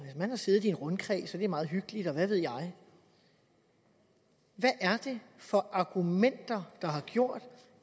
man har siddet i en rundkreds og det er meget hyggeligt og hvad ved jeg hvad er det for argumenter der har gjort